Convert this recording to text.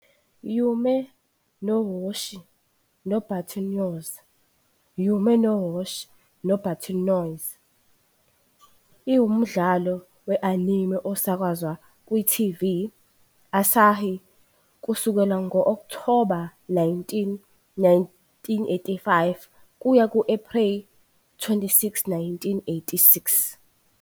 "Yume no Hoshi no Button Nose, Yume no Hoshi no Button Nose, iwumdlalo we-anime osakazwa ku -TV Asahi kusukela ngo -Okthoba 19, 1985 kuya ku -April 26, 1986.